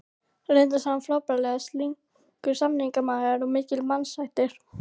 Reyndist hann frábærlega slyngur samningamaður og mikill mannasættir.